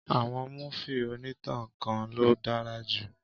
Àwọn múfì onítàn kan ló dára jù